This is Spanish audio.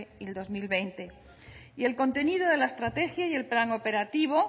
y el dos mil veinte y el contenido de la estrategia y el plan operativo